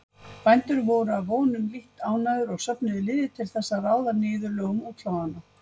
Bændur voru að vonum lítt ánægðir og söfnuðu liði til þess að ráða niðurlögum útlaganna.